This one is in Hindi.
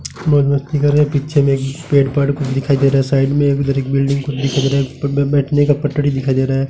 मौज मस्ती कर रहे हैं पीछे एक पेड़ पहाड़ कुछ दिखाई दे रहा है साइड में एक उधर एक बिल्डिंग कुछ दिखाई दे रहा है बैठने को पटड़ी दिखाई दे रहा है।